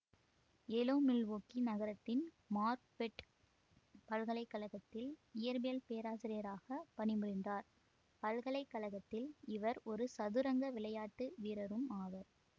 alloy Milwaukee நகரத்தின் Marquette பல்கலைகழகத்தில் இயற்பியல் பேராசிரியராக பணி புரிந்தார் பல்கலை கழகத்தில் இவர் ஒரு சதுரங்க விளையாட்டு வீரரும் ஆவார்